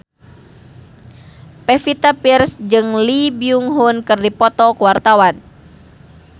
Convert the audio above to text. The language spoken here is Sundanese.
Pevita Pearce jeung Lee Byung Hun keur dipoto ku wartawan